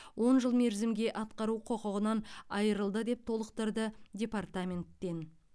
он жыл мерзімге атқару құқығынан айырылды деп толықтырды департаменттен